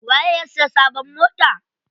Waye ya siya sabon mota?